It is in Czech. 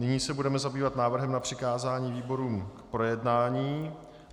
Nyní se budeme zabývat návrhem na přikázání výborům k projednání.